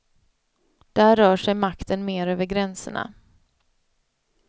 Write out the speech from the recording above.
Där rör sig makten mer över gränserna.